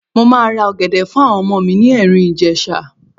Mo máa ra ọ̀gẹ̀dẹ̀ fún àwọn ọmọ mi ní Ẹ̀rìn-Ìjèṣa.